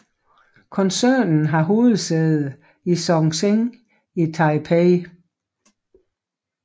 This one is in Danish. Koncernen har hovedsæde i Zhongzheng i Taipei